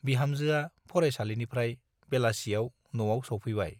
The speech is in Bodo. बिहामजोआ फरायसालिनिफ्राय बेलासियाव न'आव सौफैबाय ।